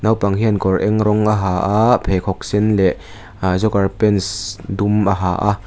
naupang hian kawr eng rawng a ha a pheikhawk sen leh ahh joker pants dum a ha a.